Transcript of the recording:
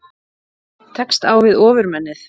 Tekst á við Ofurmennið